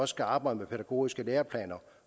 skal arbejde med pædagogiske læreplaner